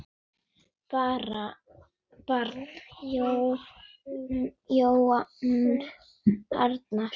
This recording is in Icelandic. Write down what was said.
Barn: Jón Arnar.